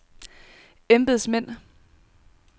embedsmænd